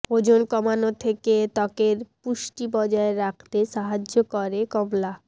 ওজন কমানো থেকে ত্বকের পুষ্টি বজায় রাখতে সাহায্য করে কমলা